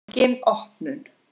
Engin opnun.